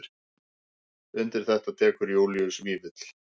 Undir þetta tekur Júlíus Vífill.